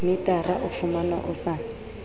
metara o fumanwa o sa